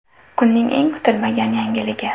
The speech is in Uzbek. Kunning eng kutilmagan yangiligi.